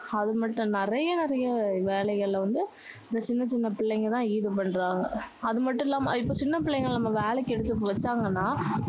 அதுமட்டும் இல்ல. நிறைய நிறைய வேலைகளில வந்து சின்ன சின்ன பிள்ளைங்க தான் ஈடுபடுறாங்க. அதுமட்டும் இல்லாம, இப்போ சின்ன பிள்ளைங்களை நம்ம வேலைக்கு எடுத்து வச்சாங்கன்னா